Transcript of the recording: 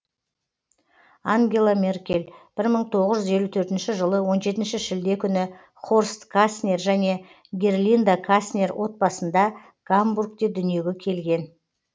ангела меркель бір мың тоғыз жүз елу төртінші жылы он жетінші шілде күні хорст каснер және герлинда каснер отбасында гамбургте дүниеге келген